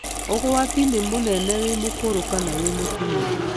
Ũgwati nĩ mũnene wĩ mũkũrũ kana wĩ mũtumia.